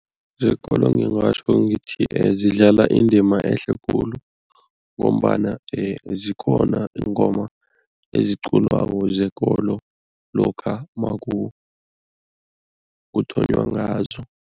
Zekolo ngingatjho ngithi zidlala indima ehle khulu ngombana zikhona iingoma eziculwako zekolo lokha kuthonywa ngazo.